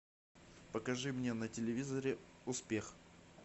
покажи мне на телевизоре успех